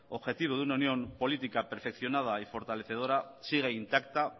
objetivo de una unión política perfeccionada y fortalecedora siga intacta